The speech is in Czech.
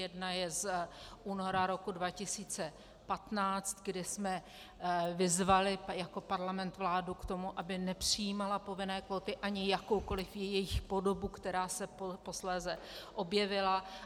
Jedna je z února roku 2015, kdy jsme vyzvali jako parlament vládu k tomu, aby nepřijímala povinné kvóty ani jakoukoliv jejich podobu, která se posléze objevila.